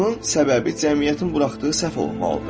Bunun səbəbi cəmiyyətin buraxdığı səhv olmalıdır.